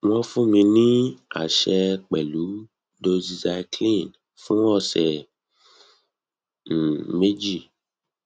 wọn fún mi ní àṣẹ pẹlú doxycycline fún ọsẹ um méjì